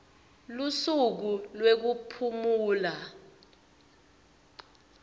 lusuku lwekuphumula